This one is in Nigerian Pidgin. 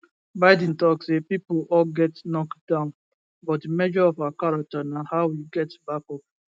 biden tok say pipo all get knocked down but di measure of our character na how we get back up